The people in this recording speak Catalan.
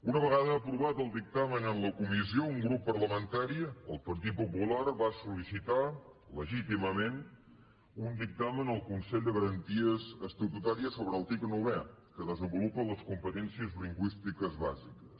una vegada aprovat el dictamen en la comissió un grup parlamentari el partit popular va sol·licitar legítimament un dictamen al consell de garanties estatutà ries sobre l’article novè que desenvolupa les competèn cies lingüístiques bàsiques